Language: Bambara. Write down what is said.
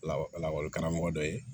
Lakɔli karamɔgɔ dɔ ye